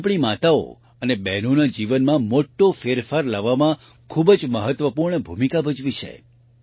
તેણે આપણી માતાઓ અને બહેનોના જીવનમાં મોટો ફેરફાર લાવવામાં ખૂબ જ મહત્વપૂર્ણ ભૂમિકા ભજવી છે